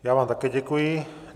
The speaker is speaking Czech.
Já vám také děkuji.